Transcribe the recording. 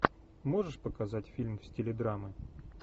можешь показать фильм в стиле драмы